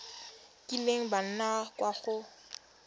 kileng ba nna kwa go